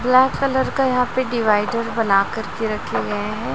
Black colour का यहां पे डिवाइडर बना कर के रखे गए हैं।